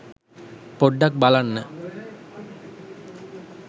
පොඩ්ඩක් බලන්න